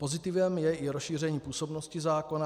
Pozitivem je i rozšíření působnosti zákona.